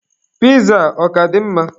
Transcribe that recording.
Piza a ọ ka dị mma?